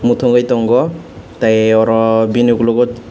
tungui tongo tai oro bini ukulogo.